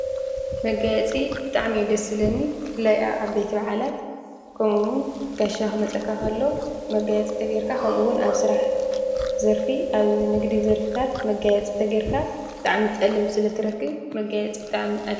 መጋያጺ ብጣዕሚ ደስብለኒ ፍላይ ኣብዓበቲ በዓላት ከምኡውን ጋሻኹ መጸካኸሎ መጋያ ጽተ ገርካ ኸምኡውን ኣብ ሥራሕ ዘርፊ ኣብ ንግዲ ዘርፍታት መጋያ ጽተ ጌርካ ጥዕሚ ጠለብ ስለ ትረክህ መጋያጽ ብጣዓሚ ።